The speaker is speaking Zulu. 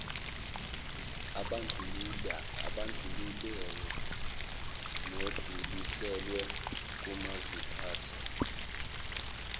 abandlululayo nadluliselwe komaziphathe